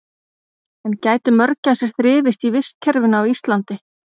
en gætu mörgæsir þrifist í vistkerfinu á íslandi